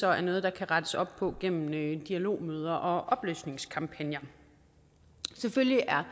er noget der kan rettes op på gennem dialogmøder og oplysningskampagner selvfølgelig er